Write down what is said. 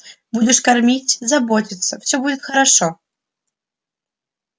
будешь кормить заботиться все будет хорошо